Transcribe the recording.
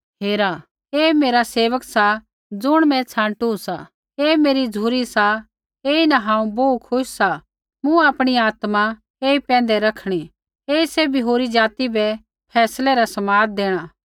हेरा ऐ मेरा सेवक सा ज़ुण मैं छाँटु सा ऐ मेरी झ़ुरी सा ऐईन हांऊँ बोहू खुश सा मूँ आपणी आत्मा ऐई पैंधै रैखणी ऐई सैभी होरी ज़ाति बै फैसलै रा समाद देणा